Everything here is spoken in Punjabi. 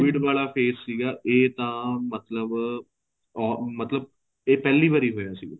COVID ਵਾਲਾ face ਸੀਗਾ ਏ ਤਾਂ ਮਤਲਬ ਮਤਲਬ ਏ ਪਹਿਲੀ ਵਾਰ ਹੋਇਆ ਸੀ